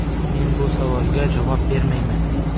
Men bu savolga javob bermayman.